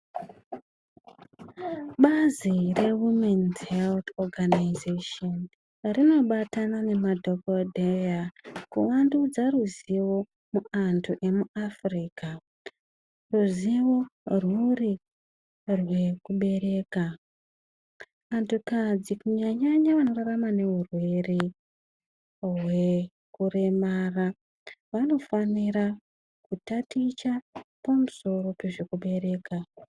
Bazi reWomen 's health organisation rinobatana nemadhokodheya kuvandudza ruzivo muantu emuAfrica. Ruzivo rwuri rwekubereka. Antukadzi kunyanya vanorarama neurwere rwekuremara vanofanira kutaticha pamusoro pezvekubereka.